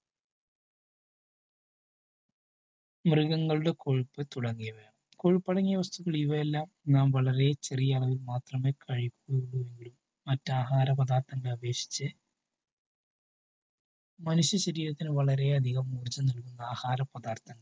മൃഗങ്ങളുടെ കൊഴുപ്പു തുടങ്ങിയവയുണ്ട്. കൊഴുപ്പടങ്ങിയ വസ്തുക്കൾ ഇവയെല്ലാം നാം വളരെ ചെറിയളവിൽ മാത്രമേ കഴിക്കാൻ പാടുള്ളു. മറ്റാഹാര പദാർത്ഥങ്ങൾ അപേക്ഷിച്ചു മനുഷ്യ ശരീരത്തിന് വളരെ അധികം ഊർജം നൽകുന്ന ആഹാര പദാർഥങ്ങളാണ്.